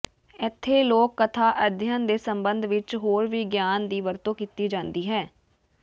ਇੱਥੇ ਲੋਕ ਕਥਾ ਅਧਿਐਨ ਦੇ ਸੰਬੰਧ ਵਿੱਚ ਹੋਰ ਵੀ ਗਿਆਨ ਦੀ ਵਰਤੋਂ ਕੀਤੀ ਜਾਂਦੀ ਹੈ